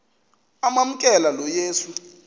amamkela lo yesu